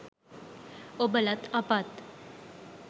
ඔබලත් අපත්